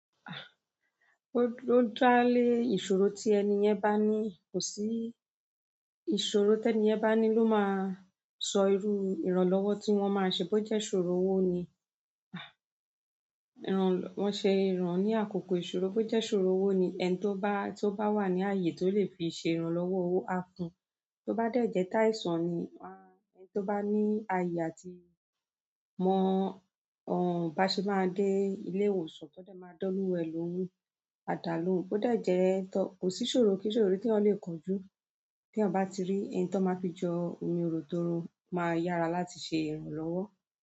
Ah! Ó ló dá lé ìṣòro tí ẹni yẹn bá ní. Kò sí ìṣòro tí ẹni yẹn bá ní ló máa sọ irú ìrànlọ́wọ́ tí wọ́n máa ṣe bó jẹ́ ṣòro owó ni. Ah! Wọ́n ṣe ìran ní àkókò ìṣòro bó jẹ́ ṣòro owó ni. Ẹni tó bá, tó bá wà ní ààyè tó lè fi ṣe ìrànlọ́wọ́ owó, á fún. Tó bá dẹ̀ jẹ́ táìsàn ni, wá ẹni tó bá ní ààyè àti mọ òún bá ṣe máa dé ilé ìwòsàn tó dé máa dọ́lúwò ẹ lówó, àdá ló un bó dé jẹ́ tó kò sí ṣòro kí ṣòro tí wọ́n lè kojú. Tí wọ́n bá ti rí ẹni tí wọ́n máa fi jọ omi-oro-toro máa yára láti ṣe ìrànlọ́wọ́.